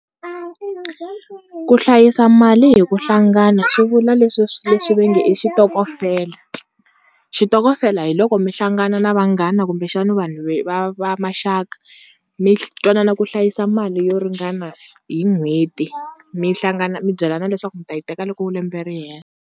Ku hlayisa mali hi ku hlangana swi vula leswi leswi va nge xitokofela xitokofela hi loko mi hlangana na vanghana kumbexana vanhu ve va va maxaka mi twanana ku hlayisa mali yo ringana hi n'hweti mi hlangana mi byelana leswaku mi ta yi teka loko lembe ri hela.